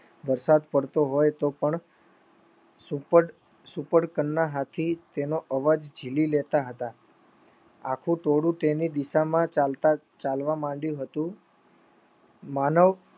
વરસાદ પડતો હોય તો પણ સુપર સુપર કનના હાથી તેનો અવાજ જીલી લેતા હતા આખું ટોળું તેની દિશામાં ચાલતા ચાલવા માંડ્યું હતું માનવ